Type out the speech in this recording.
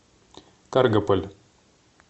каргополь